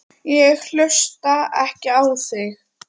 Ég hlusta ekki á þig.